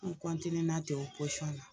N kɔntinena ten o na